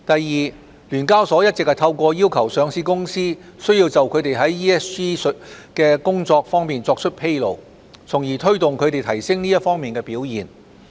二聯交所一直透過要求上市公司須就它們在 ESG 方面的工作作出披露，從而推動它們提升這方面的表現。